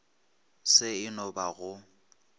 se e no ba go